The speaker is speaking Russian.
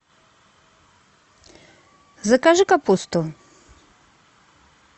закажи капусту